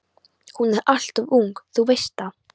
Hún er alltof ung, þú veist það.